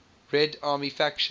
red army faction